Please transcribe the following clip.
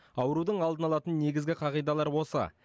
аурудың алдын алатын негізгі қағидалар осы